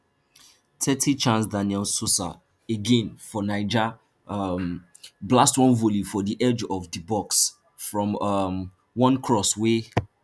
thirty chaaancedaniel sosah again from niger um blast one volley from di edge of di box from um one cross wey